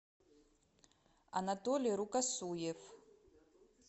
анатолий рукосуев